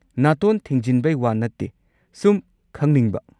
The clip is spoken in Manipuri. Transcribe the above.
ꯅꯥꯇꯣꯟ ꯊꯤꯡꯖꯤꯟꯕꯩ ꯋꯥ ꯅꯠꯇꯦ ꯁꯨꯝ ꯈꯪꯅꯤꯡꯕ꯫